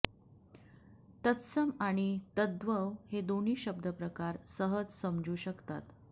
तत्सम आणि तद्भव हे दोन्ही शब्द प्रकार सहज समजू शकतात